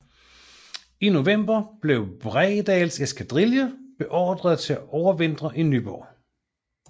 I november blev Bredals eskadre beordret til at overvintre i Nyborg